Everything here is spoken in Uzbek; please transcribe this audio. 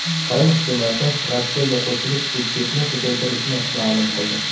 Qrim hukumati Rossiyaga qo‘shilish budjetni ko‘paytirishini ma’lum qildi.